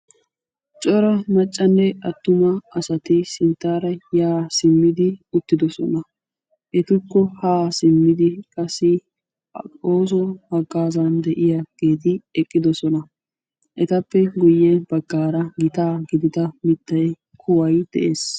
cora maccanne attuma asati sintta baggaara yaa haa uttidoosona. etukko ha simmidi qassi ooso haggaazzan de'iyaageeti eqqidoosna. etappe guyye baggaara gitaa gidida mittay kuway de'ees.